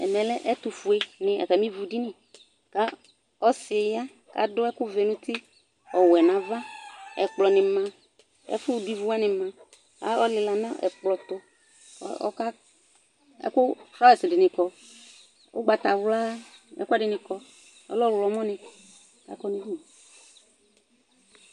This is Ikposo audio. Ɛmɛ lɛ ɛtʋfuenɩ atamɩ ivu ɖini, ƙʋ ɔsɩ ƴa Ƙʋ l'aɖʋ ɛvɛ nʋ uti ,ɔwɛ nʋ ava; ɛƙplɔ nɩ ma, ɛƙʋ ɖʋ ivu wanɩ maƆlɩla nʋ ɛƙplɔ tʋ,ɛƙʋ fraz ɖɩnɩ ƙɔ, ʋgbatawla, ɛƙʋɛɖɩnɩ ƙɔ, ɔhlɔmɔ nɩ ƙɔ